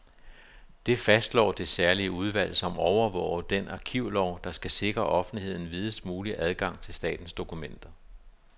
Det fastslår det særlige udvalg, som overvåger den arkivlov, der skal sikre offentligheden videst mulig adgang til statens dokumenter.